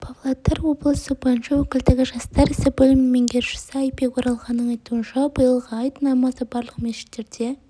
павлодар облысы бойынша өкілдігі жастар ісі бөлімінің меңгерушісі айбек оралханның айтуынша биылғы айт намазы барлық мешіттерде